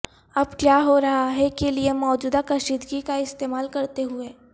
اب کیا ہو رہا ہے کے لئے موجودہ کشیدگی کا استعمال کرتے ہوئے